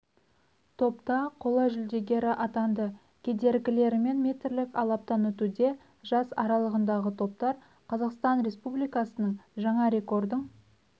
топта қола жүлдегері атанды кедергілерімен метрлік алабтан өтуде жас аралығындағы топтар қазақстан республикасының жаңа рекордың